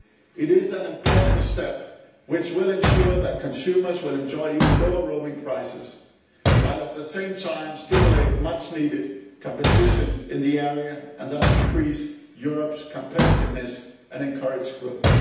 It is an important step which will ensure that consumers will enjoy even lower roaming prices, while at the same time it will stimulate much needed competition in the area and thus increase Europe's competitiveness and encourage growth.